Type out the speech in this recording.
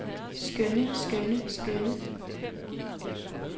skønne skønne skønne